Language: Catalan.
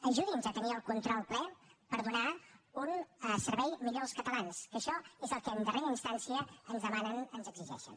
ajudi’ns a tenir el control ple per donar un servei millor als catalans que això és el que en darrera instància ens demanen ens exigeixen